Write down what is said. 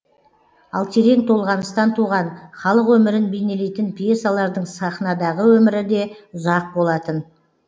ал терең толғаныстан туған халық өмірін бейнелейтін пьесалардың сахнадағы өмірі де ұзақ болатын